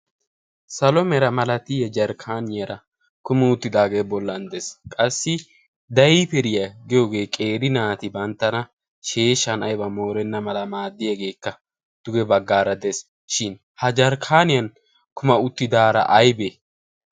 salo meera malatiya jarkkaaniyaara kumi uttidaagee bollan de'es. qassi dayiperiyaa giyoogee qeeri naati banttana sheeshan aiba moorenna mala maaddiyaageekka duge baggaara de'es. shin ha jarkkaaniyan kuma uttidaara aybee?